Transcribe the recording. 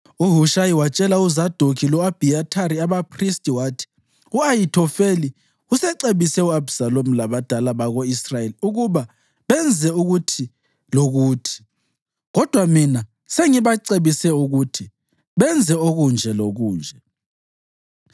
UHushayi watshela uZadokhi lo-Abhiyathari, abaphristi, wathi, “U-Ahithofeli usecebise u-Abhisalomu labadala bako-Israyeli ukuba benze ukuthi lokuthi, kodwa mina sengibacebise ukuthi benze okunje lokunje.